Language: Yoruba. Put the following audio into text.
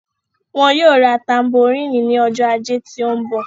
wọn yóò ra tamboríìnì ní ọjọ́ ajé tí ó ń bọ̀.